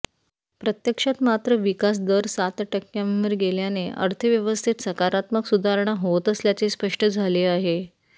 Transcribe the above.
प्रत्यक्षात मात्र विकास दर सात टक्क्यांवर गेल्याने अर्थव्यवस्थेत सकारात्मक सुधारणा होत असल्याचे स्पष्ट झाले आहे